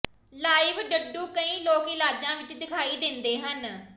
live ਡੱਡੂ ਕਈ ਲੋਕ ਇਲਾਜਾਂ ਵਿੱਚ ਦਿਖਾਈ ਦਿੰਦੇ ਹਨ